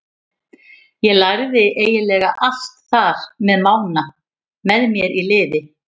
Ég lærði eiginlega allt þar með Mána með mér í liði.